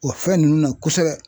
O fɛn nunnu na kosɛbɛ.